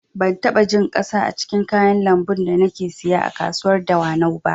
Ban taɓa jin ƙasa a cikin kayan lambun da nake siya a kasuwar dawanau ba